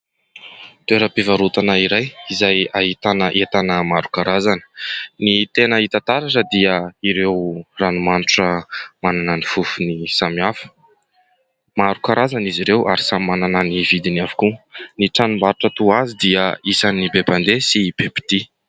Toera-pivarotana iray izay ahitana entana maro karazana, ny tena hita taratra dia ireo ranomanitra manana ny fofony samihafa ; maro karazana izy ireo ary samy manana ny vidiny avokoa. Ny tranombarotra toa azy dia isan'ny be mpande sy be-pitia.